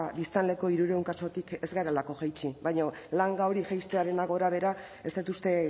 biztanleko hirurehun kasutik ez garelako jaitsi baina langa hori jaistearena gorabehera ez dut uste